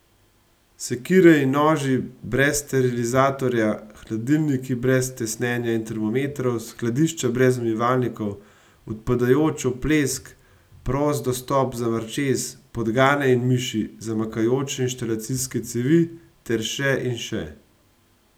Sekire in noži brez sterilizatorja, hladilniki brez tesnjenja in termometrov, skladišča brez umivalnikov, odpadajoč oplesk, prost dostop za mrčes, podgane in miši, zamakajoče inštalacijske cevi ter še in še.